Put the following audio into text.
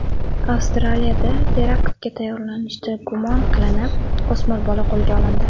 Avstraliyada teraktga tayyorlanishda gumon qilinib, o‘smir bola qo‘lga olindi.